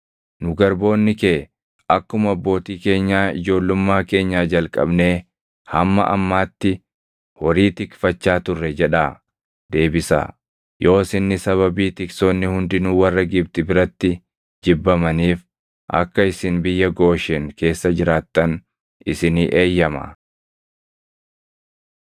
‘Nu garboonni kee akkuma abbootii keenyaa ijoollummaa keenyaa jalqabnee hamma ammaatti horii tikfachaa turre’ jedhaa deebisaa. Yoos inni sababii tiksoonni hundinuu warra Gibxi biratti jibbamaniif akka isin biyya Gooshen keessa jiraattan isinii eeyyamaa.”